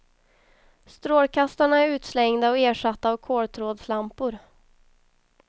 Strålkastarna är utslängda och ersatta av koltrådslampor.